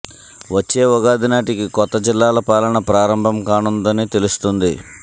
వచ్చే ఉగాది నాటికి కొత్త జిల్లాల పాలన ప్రారంభం కానుందని తెలుస్తోంది